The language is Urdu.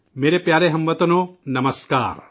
میرے پیارے ہم وطنو، نمسکار